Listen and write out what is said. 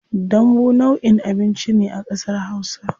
Dambu nau'in abinci ne a kasar hausa.